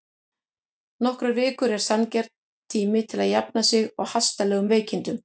Nokkrar vikur eru sanngjarn tími til að jafna sig á hastarlegum veikindum.